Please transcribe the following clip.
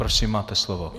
Prosím, máte slovo.